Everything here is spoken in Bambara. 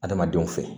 Adamadenw fɛ